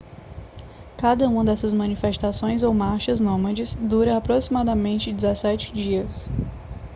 cada uma dessas manifestações ou marchas nômades dura aproximadamente 17 dias